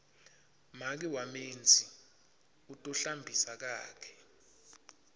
make wamenzi u tohlambisa kakhe